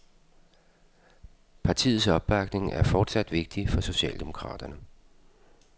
Partiets opbakning er fortsat vigtig for socialdemokraterne.